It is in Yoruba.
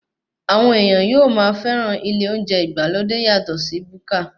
Àwọn ènìyàn yóò máa fẹ́ràn ilé oúnjẹ ìgbàlódé yàtọ sí búkà.